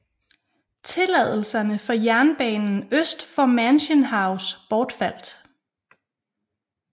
Tilladelserne for jernbanen øst for Mansion House bortfaldt